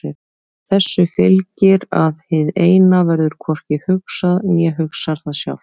Þessu fylgir að hið Eina verður hvorki hugsað né hugsar það sjálft.